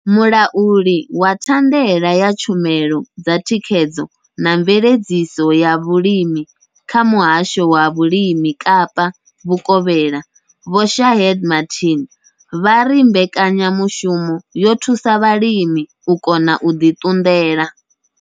Mulauli wa thandela ya tshumelo dza thikhedzo na mveledziso ya vhulimi kha muhasho wa vhulimi Kapa vhukovhela Vho Shaheed Martin vha ri mbekanyamushumo yo thusa vhalimi u kona u ḓi ṱunḓela.